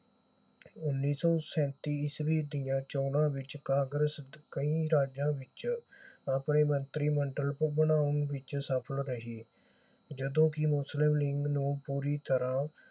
ਉੱਨੀ ਸੌ ਸੈਂਤੀ ਈਸਵੀ ਦੀਆਂ ਚੋਣਾਂ ਵਿਚ ਕਾਂਗਰਸ ਕਈ ਰਾਜਾਂ ਵਿਚ ਆਪਣੇ ਮੰਤਰੀ ਮੰਡਲ ਬਣਾਉਣ ਵਿਚ ਸਫਲ ਰਹੀ ਜਦੋਂ ਕਿ ਮਸਲਿਮ ਲੀਗ ਨੂੰ ਪੂਰੀ ਤਰ੍ਹਾਂ